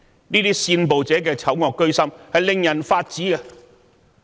這些煽暴者的醜惡居心，令人髮指。